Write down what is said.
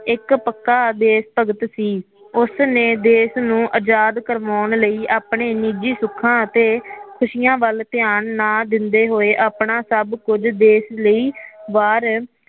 ਇਕ ਪੱਕਾ ਦੇਸ਼ ਭਗਤ ਸੀ ਉਸ ਨੇ ਦੇਸ਼ ਨੂੰ ਆਜ਼ਾਦ ਕਰਵਾਉਣ ਲਈ ਆਪਣੇ ਨਿਜ਼ੀ ਸੁੱਖਾ ਅਤੇ ਖੁਸ਼ਿਆਂ ਵੱਲ ਧਿਆਨ ਨਾ ਦਿੰਦੋ ਹੋਏ ਆਪਣਾ ਸੱਭ ਕੁਝ ਦੇਸ਼ ਲਈ ਵਾਰ